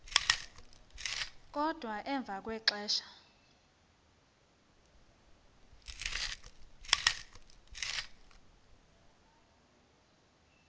kodwa emva kwexesha